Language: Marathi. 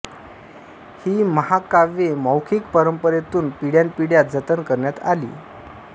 ही महाकाव्ये मौखिक परंपरेतून पिढ्यानपिढ्या जतन करण्यात आली